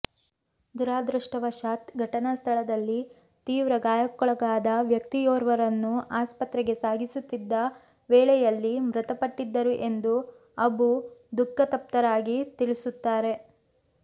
ದುರದೃಷ್ಟವಶಾತ್ ಘಟನಾ ಸ್ಥಳದಲ್ಲಿ ತೀವ್ರ ಗಾಯಕ್ಕೊಳಗಾದ ವ್ಯಕ್ತಿಯೋರ್ವರನ್ನು ಆಸ್ಪತ್ರೆಗೆ ಸಾಗಿಸುತ್ತಿದ್ದ ವೇಳೆಯಲ್ಲಿ ಮೃತಪಟ್ಟಿದ್ದರು ಎಂದು ಅಬು ದುಃಖತಪ್ತರಾಗಿ ತಿಳಿಸುತ್ತಾರೆ